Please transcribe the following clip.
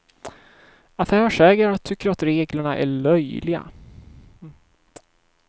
Affärsägare tycker att reglerna är löjliga.